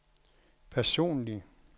personlig